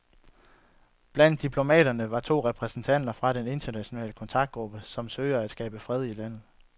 Blandt diplomaterne var to repræsentanter fra den internationale kontaktgruppe, som søger at skabe fred i landet.